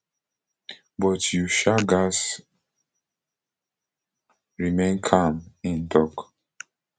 but you um gatz remain calm im tok